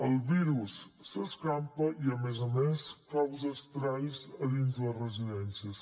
el virus s’escampa i a més a més causa estralls a dins les residències